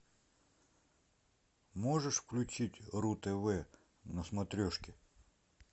можешь включить ру тв на смотрешке